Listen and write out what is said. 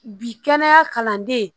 Bi kɛnɛya kalanden